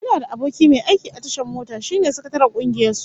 Ina da aboki mai aiki a tashar mota, shine sakataren kungiyar su